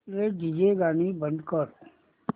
please DJ गाणी बंद कर